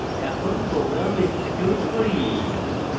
এখন program execute করি